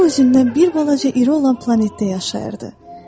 O özündən bir balaca iri olan planetdə yaşayırdı.